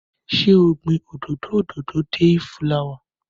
Ṣé o gbin òdòdó òdòdó deifulawa?